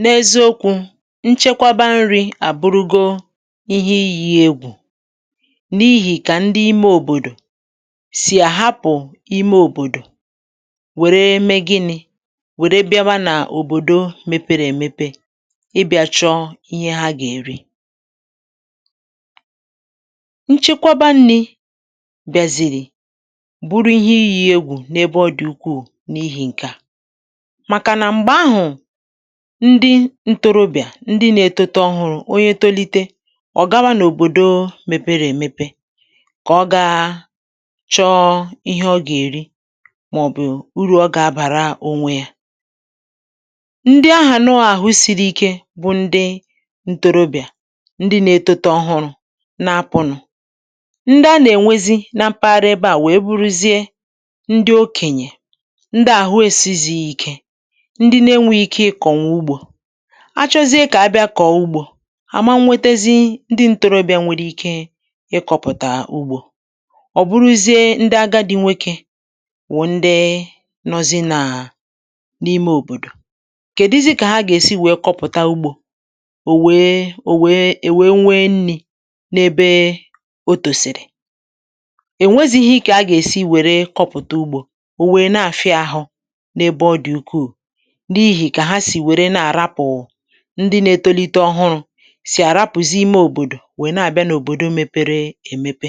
n’eziokwū nchekwaba nrī àburugo ihe iyī egwù n’ihì kà ndi ime òbòdò sì àhapụ ime òbòdò wère me gịnị̄ wère bịaba nà òbòdo mepere èmepe ịbịā chọ̄ ihe ha gà-èri nchekwaba nnī bị̀àzìrì bụrụ ihe iyī egwù n’ebe ọ dị̀ ukwuù n’ihī ṅ̀ke à màkà nà m̀gbè ahụ̀ ndi ntorobịà ndị nā-etote ọhụrụ̄ onye tolite ọ̀ gawa n’òbòdo mepere èmepe kà ọ gaa chọọ ihe ọ gà-èri màọ̀bụ̀ urù ọ gà-abàra onwe ya ndị ahà nọọ̄ àhụ siri ike bụ ndị ntorobịà ndị nā-etote ọhụrụ̄ na-apụ̄nụ̄ ndị a nà-ènwezi na mpaghara ebe à wèe buruzie ndi okènyè ndi ạ̀hụ esizī ike ndi na-enweghi ike ịkọ̀nwụ̀ ugbō a chọzie kà a bịa kọ̀ọ ugbō à ma nwetezi ndị ntorobịā nwere ike ịkọ̄pụ̀tà ugbō ọ̀ bụrụzie ndị agadị nwokē wụ̀ ndị nọzị nà n’ime òbòdò keduzi kà ha gà-èsi wèe kọpụ̀ta ugbō ò wèe ò wèe è wèe nwee nnī n'ebe o tòsìrì è nwezīhī kà a gà-èsi wère kọpụ̀ta ugbō ò wèe na-àfịa ahụ n’ebe ọ dị̀ ukwuù n’ihì kà ha sì wère na-àrapụ̀ ndị nā-etolite ọhụrụ̄ sì àrapụ̀zị ime òbòdò wèe na-abịa n’òbòdo mēpērē èmepe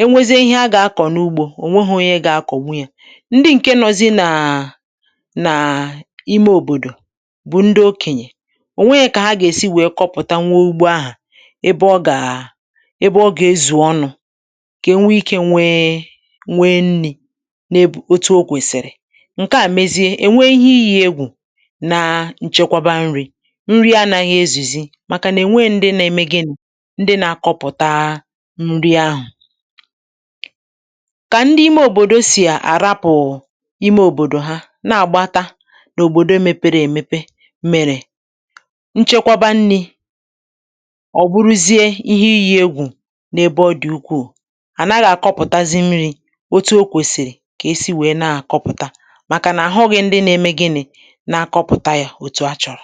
e nwezie ihe a gà-akọ̀ n’ugbō o nwehọ̄ onye gā-akọ̀nwu yā ndị ṅ̀ke nọzị nà nàà ime òbòdò bụ̀ ndị okenyè o nwehē kà ha gà-èsi wèe kopụ̀tanwuo ugbo ahụ̀ ebe ọ gàà ebe ọ gà-ezù ọnụ̄ kà e nwee ikē nwee nwee nnī n’ebù otu o kwẹ̀sị̀rị ṅ̀ke à mezie è nwee ihe iyī egwù na nchekwaba nrī nri anāhā ezùzi màkà nà è nweē ndị na-eme gịnị̄? ndị na-akọpụ̀ta nri ahụ̀ kà ndị ime ọbọdọ sì àrapụ̀ ime òbòdò ha na-àgbata n’òbòdo mepere èmepe mèrè nchekwaba nnī ọ̀ bụrụzie ihe iyī egwù n’ebe ọ dị̀ ukwuù à naghị̄ àkọpụ̀tazi nrī otu o kwèsìrì kà e si wèe na-àkọpụ̀ta màkà nà à hụghị̄ ndị na-eme gịni.̄ na-akọpụta yā òtù a chọ̀rọ̀